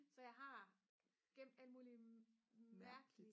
så jeg har gemt alle mulige mærkelige